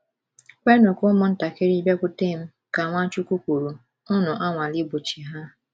“ Kwenụ ka ụmụntakịrị bịakwute m, ” ka Nwachukwu kwuru, “ unu anwala Igbochi ha. ”